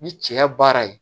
Ni cɛ baara ye